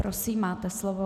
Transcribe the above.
Prosím, máte slovo.